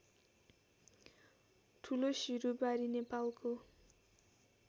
ठुलोसिरुबारी नेपालको